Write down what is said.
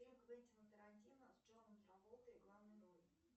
фильм квентина тарантино с джоном траволтой в главной роли